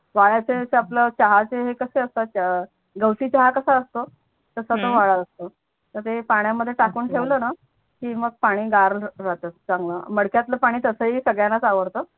गवती चहा कसा असतो तसा तो वाडा असतो हम्म तर ते पाण्यामध्ये टाकून ठेवल णा अच्छा की मग पानी गार राहतो चांगल मडक्यातल पानी तस ही संगड्यांणाच आवडत